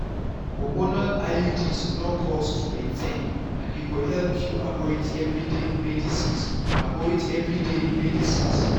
hormonal iuds no cost to maintain and e go help you avoid everyday medicines. avoid everyday medicines.